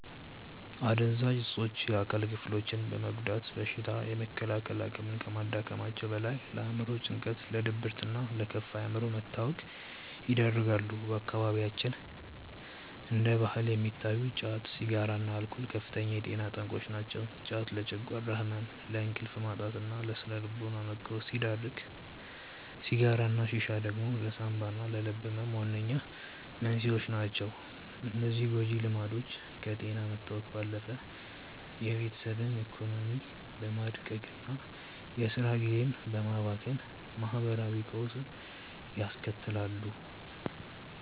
አደንዛዥ እፆች የአካል ክፍሎችን በመጉዳት በሽታ የመከላከል አቅምን ከማዳከማቸውም በላይ፣ ለአእምሮ ጭንቀት፣ ለድብርትና ለከፋ የአእምሮ መታወክ ይዳርጋሉ። በአካባቢያችን እንደ ባህል የሚታዩት ጫት፣ ሲጋራና አልኮል ከፍተኛ የጤና ጠንቆች ናቸው። ጫት ለጨጓራ ህመም፣ ለእንቅልፍ ማጣትና ለስነ-ልቦና መቃወስ ሲዳርግ፣ ሲጋራና ሺሻ ደግሞ ለሳንባና ለልብ ህመም ዋነኛ መንስኤዎች ናቸው። እነዚህ ጎጂ ልምዶች ከጤና መታወክ ባለፈ የቤተሰብን ኢኮኖሚ በማድቀቅና የስራ ጊዜን በማባከን ማህበራዊ ቀውስ ያስከትላሉ።